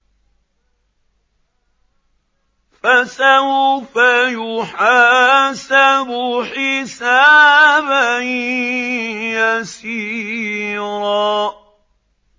فَسَوْفَ يُحَاسَبُ حِسَابًا يَسِيرًا